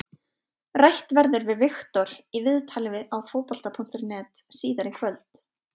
Rætt verður við Viktor í viðtali á Fótbolta.net síðar í kvöld.